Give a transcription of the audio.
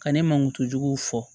Ka ne mankutu juguw fɔ